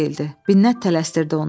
Binnət tələsdirdi onu.